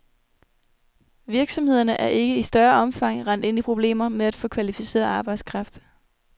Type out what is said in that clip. Virksomhederne er ikke i større omfang rendt ind i problemer med at få kvalificeret arbejdskraft.